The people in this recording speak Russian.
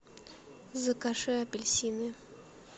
закажи апельсины